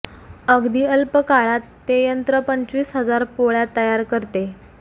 अगदी अल्प काळात ते यंत्र पंचवीस हजार पोळ्या तयार करते